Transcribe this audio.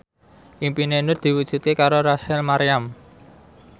impine Nur diwujudke karo Rachel Maryam